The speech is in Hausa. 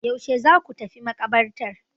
Yaushe za ku tafi maƙabartar?